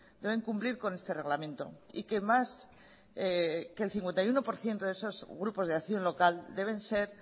deben cumplir con este reglamento y que más que el cincuenta y uno por ciento de esos grupos de acción local deben ser